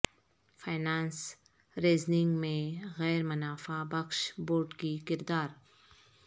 finance raising میں غیر منافع بخش بورڈ کی کردار